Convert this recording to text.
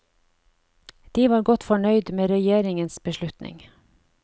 De var godt fornøyd med regjeringens beslutning.